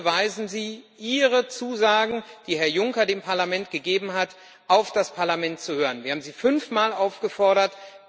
Wann beweisen Sie Ihre Zusagen, die Herr Juncker dem Parlament gegeben hat, auf das Parlament zu hören? Wir haben Sie fünfmal aufgefordert.